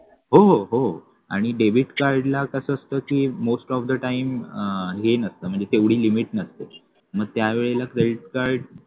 हो हो आणि debit card ला कस असत ते most of the time हे नसतं म्हणजे तेवढी limit नसते मग त्यावेळेला credit card